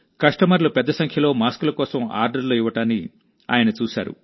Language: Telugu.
కస్టమర్లు పెద్ద సంఖ్యలో మాస్కుల కోసం ఆర్డర్లు ఇవ్వడాన్ని ఆయన చూశారు